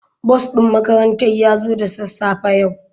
Bus din makarantar ya zo da sassafe yau.